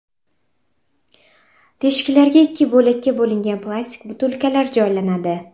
Teshiklarga ikki bo‘lakka bo‘lingan plastik butilkalar joylanadi.